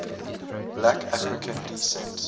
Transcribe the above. black african descent